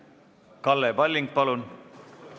Kalle Palling, palun!